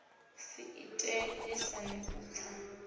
si ite lisani u pfa